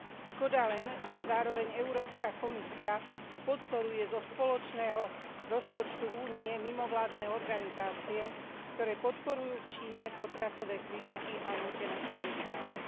Škoda len, že zároveň Európska komisia podporuje zo spoločného rozpočtu Únie mimovládne organizácie, ktoré podporujú v Číne potratové kliniky a nútené sterilizácie.